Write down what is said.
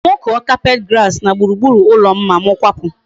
O bu m kuo elephant grass na gburugburu ulo m ma m kwapu?